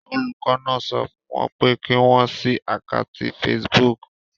Olùkọ́ náà sọ fún wọn pé kí wọ́n ṣí àkátì Facebook.